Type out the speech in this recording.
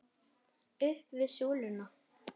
Upp við súluna!